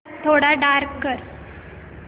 थोडा डार्क कर